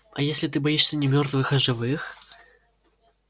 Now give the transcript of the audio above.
а если ты боишься не мёртвых а живых